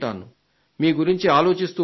మీ గురించి ఆలోచిస్తూ ఉంటాను